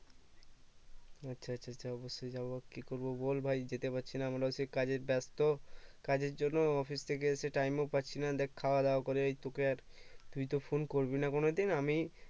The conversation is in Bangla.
আচ্ছা আচ্ছা আচ্ছা আচ্ছা অবশই যাবো কি করবো বল ভাই যেতে পারছিনা আমরা হচ্ছি কাজের চাপ তো কাজের জন্য office থেকে এসে Time ও পাচ্ছি না দেখ খাওয়া দাওয়া করে এই তোকে আর তুই তো phone করবিনা কোনোদিন আমি